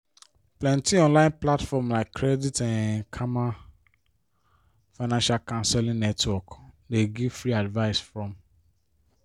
plenty online platforms like credit um karma financial counseling network dey give free advice from